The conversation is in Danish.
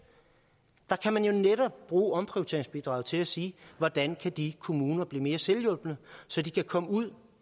der kan man jo netop bruge omprioriteringsbidraget til at sige hvordan kan de kommuner blive mere selvhjulpne så de kan komme ud